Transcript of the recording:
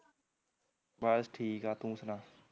ਬਸ ਠੀਕ ਐ ਤੂੰ ਸੁਣਾ